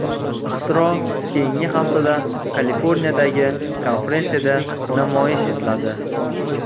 Ixtiro keyingi haftada Kaliforniyadagi konferensiyada namoyish etiladi.